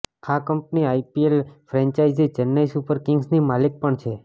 આ company IPL franchise Chennai super કિંગ્સની માલિક પણ છે